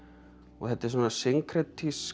þetta er svona